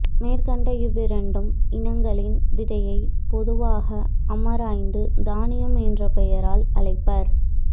மேற்கண்ட இவ்விரண்டு இனங்களின் விதையைப் பொதுவாக அமராந்து தானியம் என்ற பெயரால் அழைப்பர்